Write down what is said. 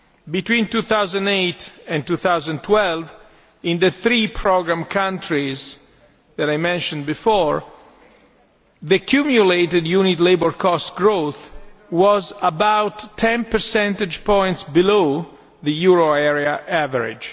Between 2008 and 2012, in the three programme countries that I mentioned before, the cumulated unit labour cost growth was about 10 percentage points below the euro area average.